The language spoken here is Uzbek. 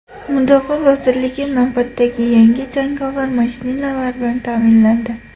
Mudofaa vazirligi navbatdagi yangi jangovar mashinalar bilan ta’minlandi .